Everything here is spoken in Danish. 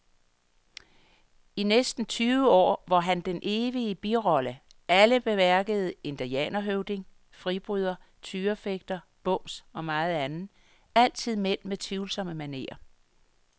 I næsten tyve år var han den evige birolle, alle bemærkede, indianerhøvding, fribryder, tyrefægter, bums og meget andet, altid mænd med tvivlsomme manerer.